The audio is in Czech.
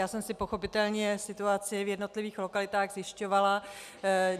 Já jsem si pochopitelně situaci v jednotlivých lokalitách zjišťovala.